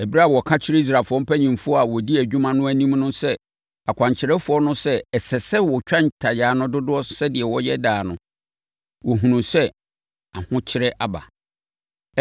Ɛberɛ a wɔka kyerɛɛ Israelfoɔ mpanimfoɔ a wɔdi adwuma no anim sɛ akwankyerɛfoɔ no sɛ ɛsɛ sɛ wɔtwa ntayaa no dodoɔ sɛdeɛ wɔyɛ daa no, wɔhunuu sɛ ahokyere aba.